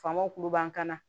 Faamaw kuluba ka na